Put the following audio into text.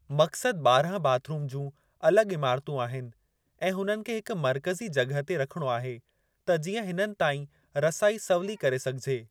मक़्सदु ॿारहं bathroom जूं अलॻि इमारतूं आहिनि ऐं हुननि खे हिकु मर्कज़ी जॻह ते रखणो आहे त जीअं हिननि ताईं रसाई सवली करे सघिजे।